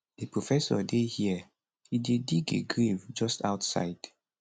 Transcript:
di professor dey here e dey dig a grave just outside